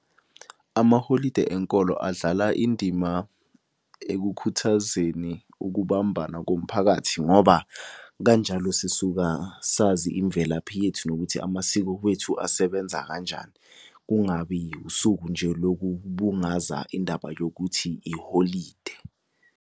Amaholidi enkolo adlala indima ekukhuthazeni ukubambana komphakathi ngoba kanjalo sisuka sazi imvelaphi yethu, nokuthi amasiko wethu asebenza kanjani. Kungabi usuku nje lokubungaza indaba yokuthi iholide.